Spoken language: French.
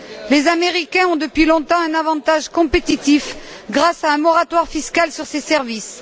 Les Américains ont depuis longtemps un avantage compétitif grâce à un moratoire fiscal sur ces services.